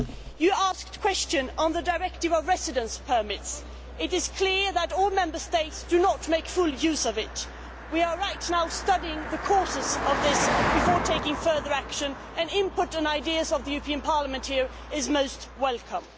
You asked a question on the Directive on residence permits. It is clear that not all Member States are making full use of it. We are right now studying the causes of this before taking further action, and the input and ideas of the European Parliament here are most welcome.